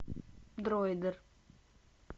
дройдер